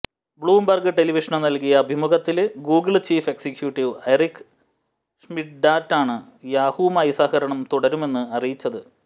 Bloomberg television നല്കിയ അഭിമുഖത്തില് Google chief executive Eric ഷ്മിഡ്റ്റാണ് യാഹുവുമായി സഹകരണം തുടരുമെന്ന് അറിയിച്ചത്